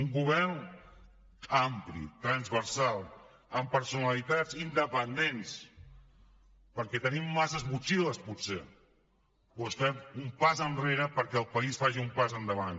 un govern ampli transversal amb personalitats independents perquè tenim massa motxilles potser doncs fem un pas enrere perquè el país faci un pas endavant